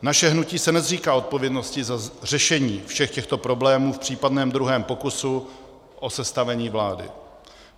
Naše hnutí se nezříká odpovědnosti za řešení všech těchto problémů v případném druhém pokusu o sestavení vlády.